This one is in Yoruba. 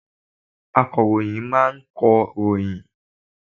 Akọ̀ròyìn máa ń kọ ròyìn